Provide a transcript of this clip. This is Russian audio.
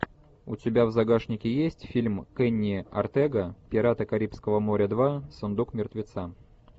у тебя в загашнике есть фильм кенни ортега пираты карибского моря два сундук мертвеца